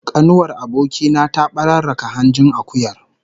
Kanuwar aboki na ta bararraka hanjin akuyar